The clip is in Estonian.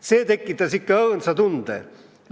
"See tekitas ikka õõnsa tunde.